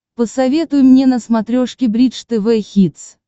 посоветуй мне на смотрешке бридж тв хитс